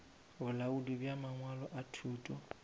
bolaodi bja mangwalo a thuto